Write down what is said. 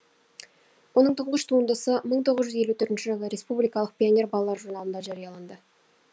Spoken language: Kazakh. оның тұңғыш туындысы мың тоғыз жүз елу төртінші жылы республикалық пионер балалар журналында жарияланды